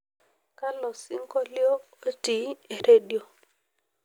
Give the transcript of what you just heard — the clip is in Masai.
kalo singolio ootii eredio